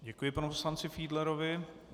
Děkuji panu poslanci Fiedlerovi.